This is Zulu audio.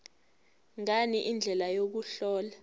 ngani indlela yokuhlola